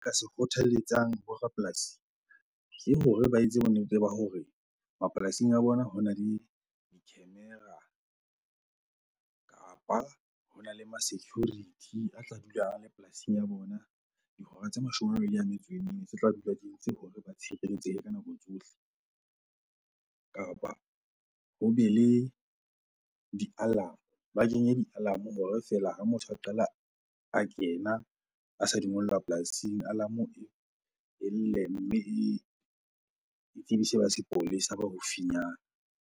Ka se kgothaletsang bo rapolasi ke hore ba etse bonnete ba hore mapolasing a bona hona le di-camera kapa hona le ma security a tla dula a le polasing ya bona dihora tse mashome a mabedi a metso e mene. Tse tla dula di entse hore ba tshireletsehe ka nako tsohle. Kapa hobe le di-alarm-o, ba kenye di-alarm-o hore fela ha motho a qala a kena a sa dungellwa polasing alarmo-o e lle mme e tsebise ba sepolesa ba haufinyana.